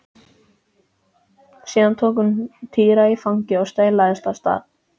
Síðan tók hún Týra í fangið og staulaðist af stað.